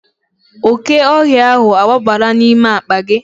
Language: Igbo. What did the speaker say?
Oke ohia ahu agbabala n'ime akpa gi